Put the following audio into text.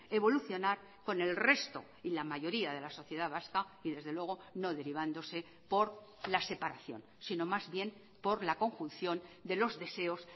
evolucionar con el resto y la mayoría de la sociedad vasca y desde luego no derivándose por la separación sino más bien por la conjunción de los deseos